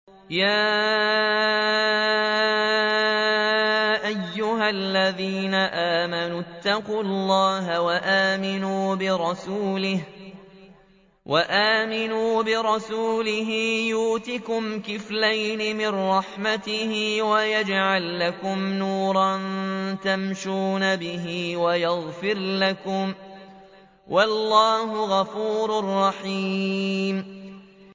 يَا أَيُّهَا الَّذِينَ آمَنُوا اتَّقُوا اللَّهَ وَآمِنُوا بِرَسُولِهِ يُؤْتِكُمْ كِفْلَيْنِ مِن رَّحْمَتِهِ وَيَجْعَل لَّكُمْ نُورًا تَمْشُونَ بِهِ وَيَغْفِرْ لَكُمْ ۚ وَاللَّهُ غَفُورٌ رَّحِيمٌ